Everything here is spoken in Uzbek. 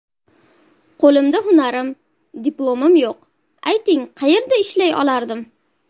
Qo‘limda hunarim, diplomim yo‘q, ayting qayerda ishlay olardim.